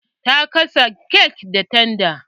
Ya gasa kek da tandar.